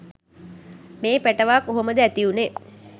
මේ පැටවා කොහොමද ඇතිවුණේ